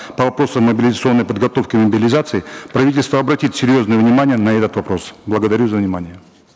по вопросу мобилизационной подготовки и мобилизации правительство обратит серьезное внимание на этот вопрос благодарю за внимание